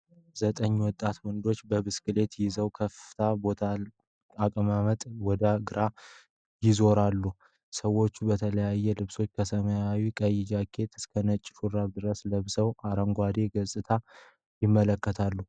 ዘጠኝ ወጣት ወንዶች ብስክሌታቸውን ይዘው ክፍት በሆነ ቦታ አቅጣጫቸውን ወደ ግራ አዙረዋል። ሰዎቹ በተለያዩ ልብሶች ከሰማያዊና ቀይ ጃኬት እስከ ነጭ ሹራብ ድረስ ለብሰው አረንጓዴውን ገጽታ ይመለከታሉ።